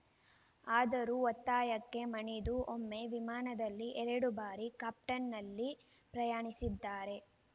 ಆದರೂ ಒತ್ತಾಯಕ್ಕೆ ಮಣಿದು ಒಮ್ಮೆ ವಿಮಾನದಲ್ಲಿ ಎರಡು ಬಾರಿ ಕಾಪ್ಟನ್ ನಲ್ಲಿ ಪ್ರಯಾಣಿಸಿದ್ದಾರೆ